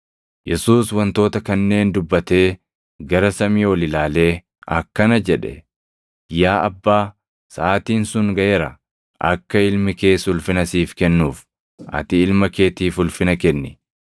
Yesuus wantoota kanneen dubbatee gara samii ol ilaalee akkana jedhe: “Yaa Abbaa, saʼaatiin sun gaʼeera. Akka Ilmi kees ulfina siif kennuuf, ati Ilma keetiif ulfina kenni.